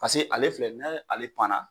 paseke ale filɛ nin ye n'ale pan na